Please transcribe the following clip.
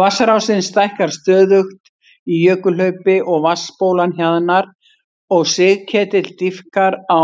Vatnsrásin stækkar stöðugt í jökulhlaupi og vatnsbólan hjaðnar og sigketill dýpkar á